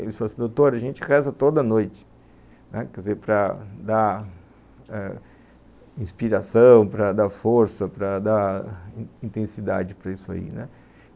Eles falam assim, doutor, a gente reza toda noite, né, para dar inspiração, para dar força, para dar intensidade para isso aí, né.